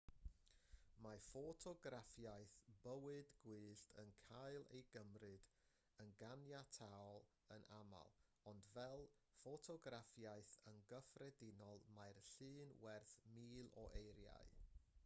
mae ffotograffiaeth bywyd gwyllt yn cael ei gymryd yn ganiataol yn aml ond fel ffotograffiaeth yn gyffredinol mae llun werth mil o eiriau